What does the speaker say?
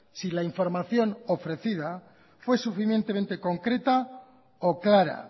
si la información ofrecida fue suficientemente concreta o clara